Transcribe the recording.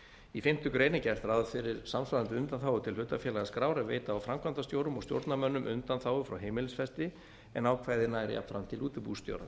í fimmtu grein er gert ráð fyrir samsvarandi undanþágu til hlutafélagaskrár en veita á framkvæmdastjórum og stjórnarmönnum undanþágu frá heimilisfesti en ákvæðið nær jafnframt til útibússtjóra